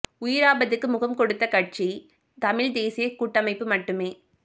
உயிர் ஆபத்துக்கு முகம் கொடுத்த கட்சி தமிழ்த் தேசிய கூட்டமைப்பு மட்டுமே